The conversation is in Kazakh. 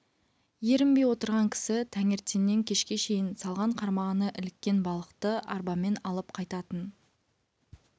ерінбей отырған кісі таңертеңнен кешке шейін салған қармағына іліккен балықты арбамен алып қайтатын